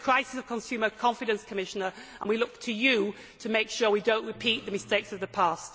This is a crisis of consumer confidence, Commissioner, and we look to you to make sure that we do not repeat the mistakes of the past.